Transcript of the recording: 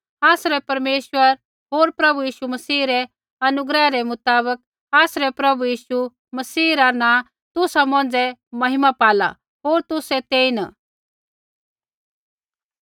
आसरै परमेश्वर होर प्रभु यीशु मसीह रै अनुग्रह रै मुताबक आसरै प्रभु यीशु मसीह रा नाँ तुसा मौंझ़ै महिमा पाला होर तुसै तेईन